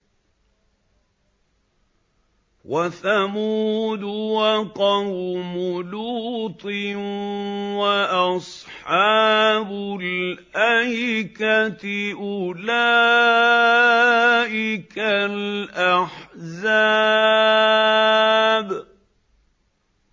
وَثَمُودُ وَقَوْمُ لُوطٍ وَأَصْحَابُ الْأَيْكَةِ ۚ أُولَٰئِكَ الْأَحْزَابُ